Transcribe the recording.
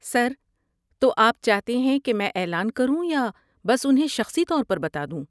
سر، تو آپ چاہتے ہیں کہ میں اعلان کروں یا بس انہیں شخصی طور پر بتا دوں؟